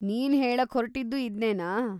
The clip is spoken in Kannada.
ನೀನ್‌ ಹೇಳೋಕ್ಹೊರ್ಟಿದ್ದು ಇದ್ನೇನಾ?